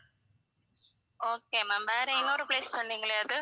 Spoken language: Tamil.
okay ma'am வேற இன்னொரு place சொன்னீங்களே அது?